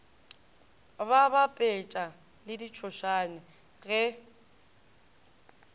ba bapetša le ditšhošane ge